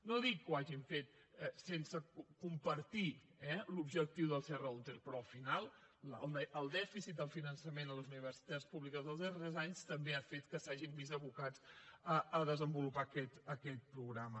no dic que ho hagin fet sense compartir eh l’objectiu del serra húnter però al final el dèficit del finançament a les universitats públiques dels darrers anys també ha fet que s’hagin vist abocats a desenvolupar aquest programa